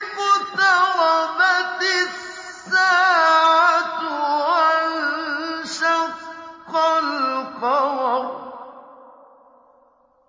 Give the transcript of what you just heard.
اقْتَرَبَتِ السَّاعَةُ وَانشَقَّ الْقَمَرُ